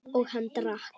Og hann drakk.